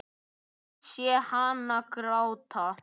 Ég sé hana gráta.